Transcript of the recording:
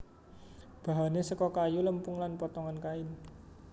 Bahane saka kayu lempung lan potongan kain